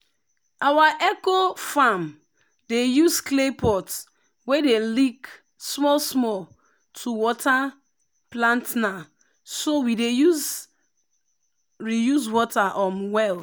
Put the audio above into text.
our eco-farm dey use clay pot wey dey leak small small to water plantna so we dey reuse water um well.